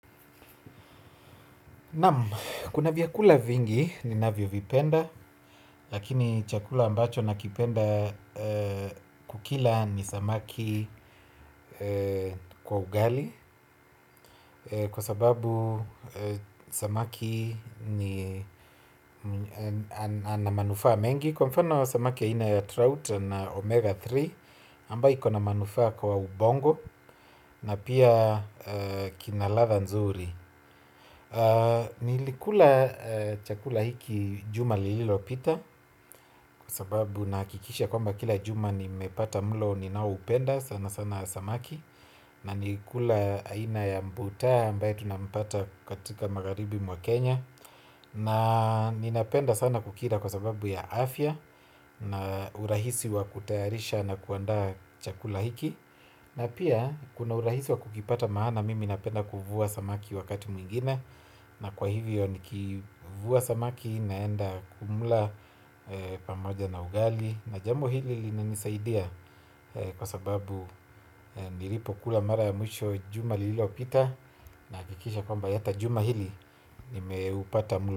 Kuna vyakula vingi ninavyo vipenda, lakini chakula ambacho nakipenda kukila ni samaki kwa ugali. Kwa sababu samaki ni ana manufa mengi. Kwa mfano samaki aina trout ina omega tatu, ambayo ikona manufaa kwa ubongo na pia kina ladha nzuri. Nilikula chakula hiki juma lililopita. Kwa sababu nahakikisha kwamba kila juma nimepata mlo ninaoupenda sana sana samaki. Na nikikula aina ya mbuta ambayo tunampata katika magharibi mwa Kenya. Na ninapenda sana kukila kwa sababu ya afya. Na urahisi wa kutayarisha na kuandaa chakula hiki. Na pia kuna urahisi wa kukipata maana mimi napenda kuvua samaki wakati mwingine. Na kwa hivyo nikivua samaki naenda kumla pamoja na ugali. Na jambo hili linanisaidia kwa sababu nilipokula mara ya mwisho juma lilopita nahakikisha kwamba hata juma hili nimeupata mlo.